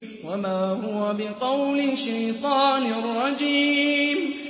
وَمَا هُوَ بِقَوْلِ شَيْطَانٍ رَّجِيمٍ